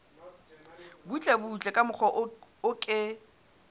butlebutle ka mokgwa o ke